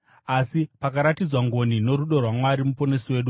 Asi pakaratidzwa ngoni norudo rwaMwari Muponesi wedu,